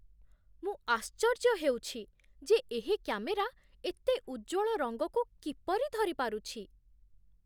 ମୁଁ ଆଶ୍ଚର୍ଯ୍ୟ ହେଉଛି ଯେ ଏହି କ୍ୟାମେରା ଏତେ ଉଜ୍ଜ୍ୱଳ ରଙ୍ଗକୁ କିପରି ଧରିପାରୁଛି!